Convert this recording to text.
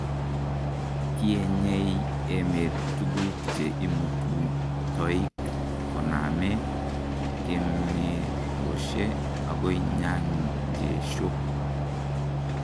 Tienyei emet tukuk che imutuu toik koname keimetoshe okoi nyanjesho.